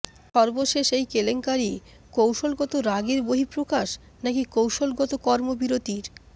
সর্বশেষ এই কেলেঙ্কারি কৌশলগত রাগের বহিঃপ্রকাশ নাকি কৌশলগত কর্মবিরতির